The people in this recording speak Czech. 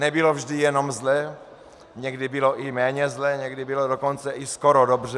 Nebylo vždy jenom zle, někdy bylo i méně zle, někdy bylo dokonce i skoro dobře.